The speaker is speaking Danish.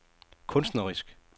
kunstnerisk